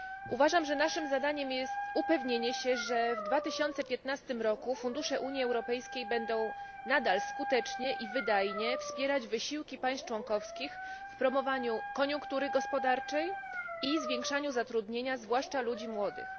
Uważam, że naszym zadaniem jest upewnienie się, że w 2015 roku fundusze Unii Europejskiej będą nadal skutecznie iwydajnie wspierać wysiłki państw członkowskich wpromowaniu koniunktury gospodarczej izwiększaniu zatrudnienia, zwłaszcza ludzi młodych.